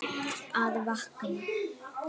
Að vakna.